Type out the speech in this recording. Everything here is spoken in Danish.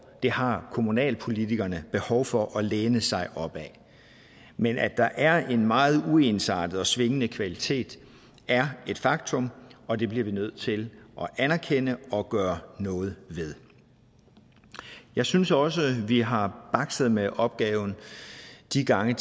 det har kommunalpolitikerne behov for at læne sig op ad men at der er en meget uensartet og svingende kvalitet er et faktum og det bliver vi nødt til at anerkende og gøre noget ved jeg synes også vi har bakset med opgaven de gange